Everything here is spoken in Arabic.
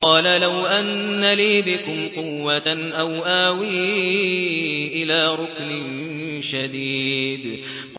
قَالَ لَوْ أَنَّ لِي بِكُمْ قُوَّةً أَوْ آوِي إِلَىٰ رُكْنٍ شَدِيدٍ